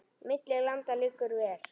Milli landa liggur ver.